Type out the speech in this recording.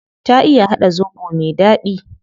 Ta iya hada zobo me dadi